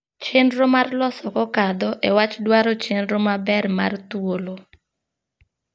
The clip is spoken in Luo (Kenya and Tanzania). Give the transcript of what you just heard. Chenro mar loso kokadho e wach dwaro chenro maber mar thuolo.